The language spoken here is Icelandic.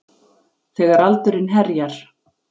Þegar aldurinn herjar.